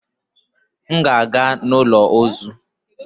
M ga-aga n'ụlọ ozu.